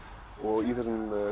og í þessum